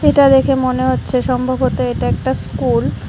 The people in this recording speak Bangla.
এটা দেখে মনে হচ্ছে সম্ভবত এটা একটা স্কুল ।